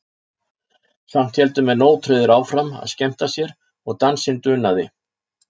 Samt héldu menn ótrauðir áfram að skemmta sér og dansinn dunaði.